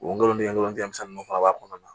Wolontigɛlinw fana b'a kɔnɔna na